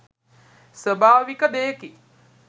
ස්වභාවික දෙයකි.